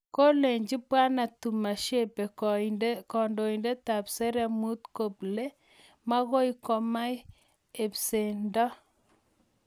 Kolechi Bwana Tumushabe kandoindetap sereemut, kple makoi komang' eng'pesendo